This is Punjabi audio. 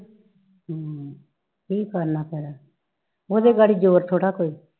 ਹਮ ਕੀ ਕਰਨਾ ਫਿਰ ਉਹਦੇ ਗਾੜੀ ਜੋਰ ਥੋੜਾ ਕੋਈ